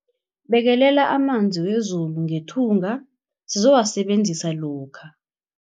Bekelela amanzi wezulu ngethunga sizowasebenzisa lokha.